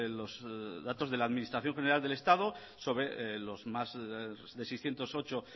los datos de la administración general del estado sobre los más de seiscientos ocho